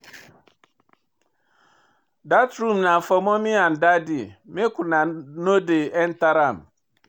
Dat room na for mummy and daddy, make una no dey enta am.